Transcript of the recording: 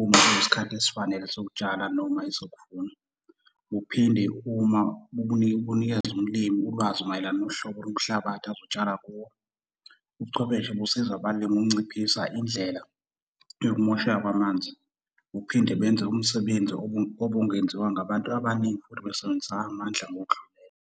uma kuyisikhathi esifanele sokutshala noma esokuvuna. Buphinde uma bunikeze umlimi ulwazi mayelana nohlobo lomhlabathi azotshala kuwo. Ubuchwepheshe busiza abalimi ukunciphisa indlela yokumosheka kwamanzi. Buphinde benze umsebenzi obungenziwa ngabantu abaningi futhi besebenzisa amandla ngokudlulele.